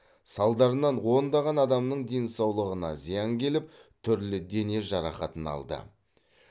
салдарынан ондаған адамның денсаулығына зиян келіп түрлі дене жарақатын алды